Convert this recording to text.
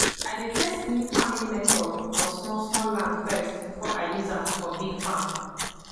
i dey test new farming method for small small land first before i use am for big farm